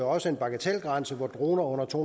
også en bagatelgrænse så droner under to